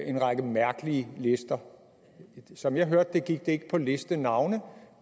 en række mærkelige lister og som jeg hørte det gik det ikke på listenavne